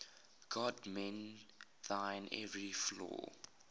god mend thine every flaw